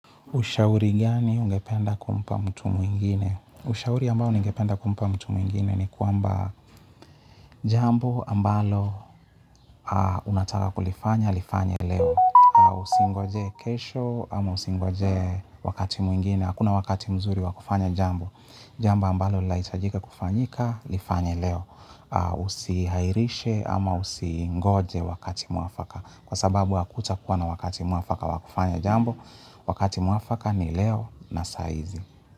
Ushauri gani ungependa kumpa mtu mwingine? Ushauri ambao ningependa kumpa mtu mwingine ni kwamba jambo ambalo unataka kulifanya, lifanye leo. Usingojee kesho auusingojee wakati mwingine. Hakuna wakati mzuri wa kufanya jambo. Jambo ambalo laitajika kufanyika, lifanya leo. Usihairishe ama usingoje wakati mwafaka. Kwa sababu hakutakuwa na wakati mwafaka wakufanya jambo. Wakati mwafaka ni leo na saizi.